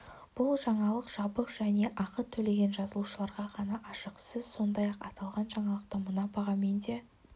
бұл жаңалық жабық және ақы төлеген жазылушыларға ғана ашық сіз сондай-ақ аталған жаңалықты мына бағамен де